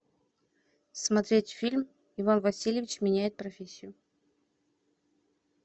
смотреть фильм иван васильевич меняет профессию